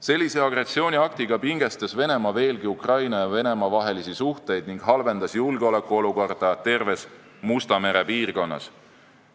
Sellise agressiooniaktiga pingestas Venemaa veelgi Ukraina ja Venemaa vahelisi suhteid ning halvendas julgeolekuolukorda terves Musta mere piirkonnas.